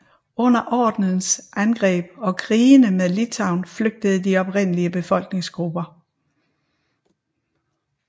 Under Ordenens angreb og krigene med Litauen flygtede de oprindelige befolkningsgrupper